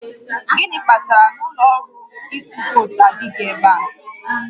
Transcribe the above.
Gịnị kpatara na ụlọ ọrụ ịtụ vootu adịghị ebe a?